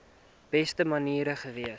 beste manier gewees